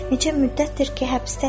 Neçə müddətdir ki, həbsdəyəm.